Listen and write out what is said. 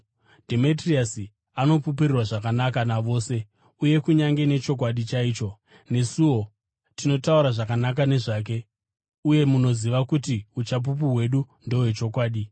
Dhemetriasi anopupurirwa zvakanaka navose, uye kunyange nechokwadi chaicho. Nesuwo tinotaura zvakanaka nezvake, uye munoziva kuti uchapupu hwedu ndohwechokwadi.